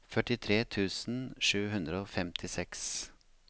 førtitre tusen sju hundre og femtiseks